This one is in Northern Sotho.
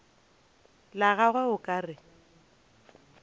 la gagwe o ka re